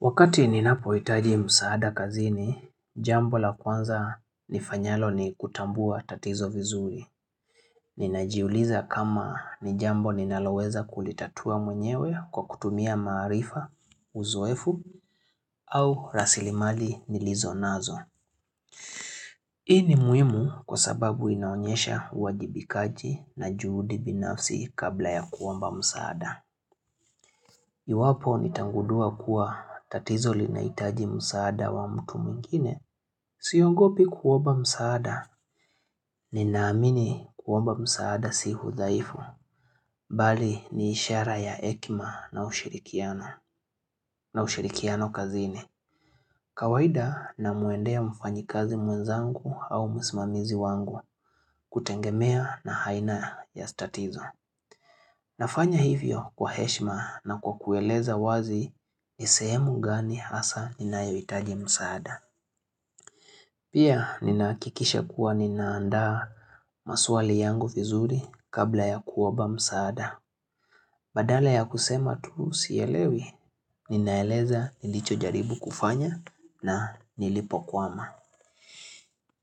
Wakati ninapo itaji msaada kazini, jambo la kwanza nifanyalo ni kutambua tatizo vizuri. Ninajiuliza kama ni jambo ninaloweza kulitatua mwenyewe kwa kutumia maarifa, uzoefu au rasilimali nilizonazo. Hii ni muhimu kwa sababu inaonyesha uwajibikaji na juhudi binafsi kabla ya kuomba msaada. Iwapo nitagundua kuwa tatizo linahitaji msaada wa mtu mwingine, siongopi kuomba msaada, ninaamini kuomba msaada si udhaifu, bali ni ishara ya hekima na ushirikiano, na ushirikiano kazini. Kawaida namuendea mfanyikazi mwenzangu au msimamizi wangu kutegemea na aina ya tatizo. Nafanya hivyo kwa heshima na kwa kueleza wazi ni sehemu gani hasa ninayohitaji msaada. Pia ninahakikisha kuwa ninaanda maswali yangu vizuri kabla ya kuomba msaada. Badala ya kusema tuu sielewi, ninaeleza nilicho jaribu kufanya na nilipokwama.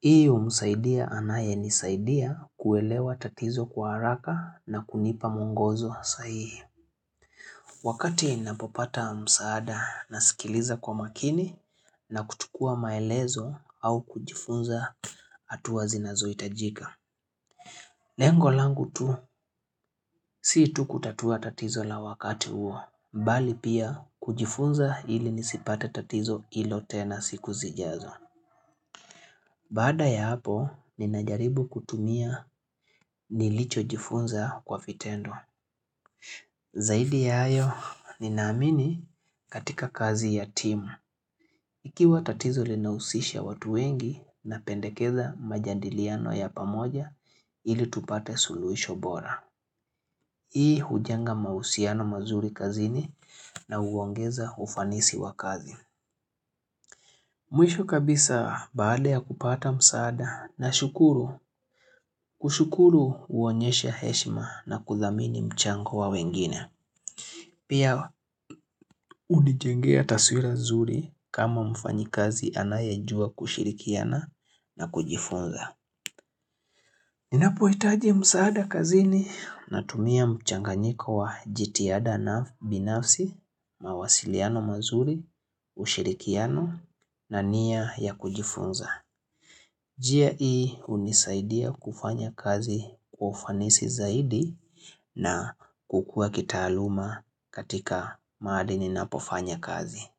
Hii humsaidia anayenisaidia kuelewa tatizo kwa haraka na kunipa mwongozo sahihi. Wakati ninapopata msaada nasikiliza kwa makini na kuchukua maelezo au kujifunza hatua zinazohitajika. Lengo langu tu si tu kutatua tatizo la wakati huo, bali pia kujifunza ili nisipate tatizo hilo tena siku zijazo. Baada ya hapo, ninajaribu kutumia nilicho jifunza kwa vitendo. Zaidi ya hayo, ninaamini katika kazi ya timu. Ikiwa tatizo linahusisha watu wengi, napendekeza majadiliano ya pamoja ili tupate suluhisho bora. Hii hujwnga mahusiano mazuri kazini na huongeza ufanisi wa kazi. Mwisho kabisa baada ya kupata msaada na shukuru. Kushukuru huonyesha heshima na kudhamini mchango wa wengine. Pia hunijengea taswira zuri kama mfanyikazi anayejua kushirikiana na kujifunza. Ninapoitaji msaada kazini na tumia mchanganyiko wa jitihada na binafsi, mawasiliano mazuri, ushirikiano na nia ya kujifunza. Njia hii hunisaidia kufanya kazi kwa ufanisi zaidi na kukua kitaaluma katika mahali ninapofanya kazi.